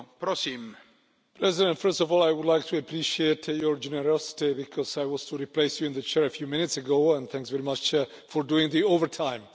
Mr President, first of all I would like to appreciate your generosity, because I was to replace you in the Chair a few minutes ago, and thanks very much for doing the overtime.